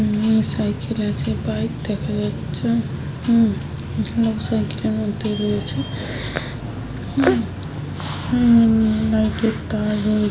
Cycle আছে bike দেখা যাচ্ছে উম লোক সাইকেল এর মধ্যে রয়েছে লাইট এর তার রয়েছে।